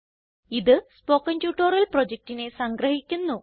ഇത് spoken tutorial പ്രൊജക്റ്റിനെ സംഗ്രഹിക്കുന്നു